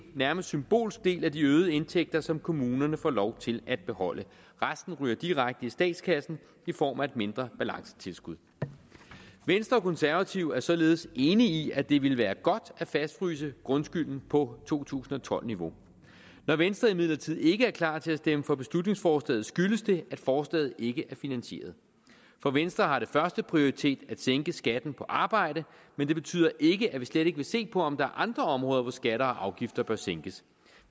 nærmest symbolsk del af de øgede indtægter som kommunerne får lov til at beholde resten ryger direkte i statskassen i form af et mindre balancetilskud venstre og konservative er således enige i at det ville være godt at fastfryse grundskylden på to tusind og tolv niveau når venstre imidlertid ikke er klar til at stemme for beslutningsforslaget skyldes det at forslaget ikke er finansieret for venstre har det førsteprioritet at sænke skatten på arbejde men det betyder ikke at vi slet ikke vil se på om der er andre områder hvor skatter og afgifter bør sænkes